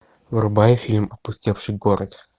врубай фильм опустевший город